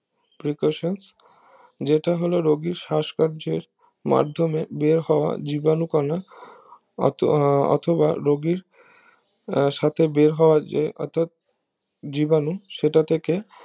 precaution যেটা হলো রুগীর সষ্কার্যের মাধ্যমে বের হওয়া জীবাণু কণা অথবা রুগীর আহ সাথে বেরহওয়া যে অর্থাৎ জীবাণু সেটা থেকে